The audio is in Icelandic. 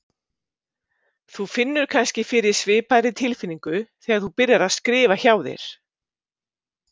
Þú finnur kannski fyrir svipaðri tilfinningu þegar þú byrjar að skrifa hjá þér.